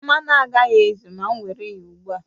Mmanụ agaghị ezu ma m were ya ugbu a